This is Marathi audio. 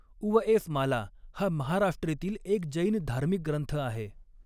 उवएसमाला हा महाराष्ट्रीतील एक जैन धार्मिक ग्रंथ आहे.